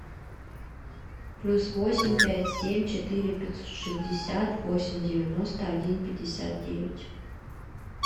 плюс восемь пять семь четыре пятьсот шестьдесят восемь девяносто один пятьдесят девять